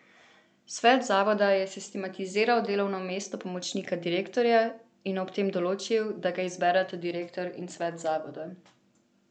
Svet zavoda je sistematiziral delovno mesto pomočnika direktorja in ob tem določil, da ga izbereta direktor in svet zavoda.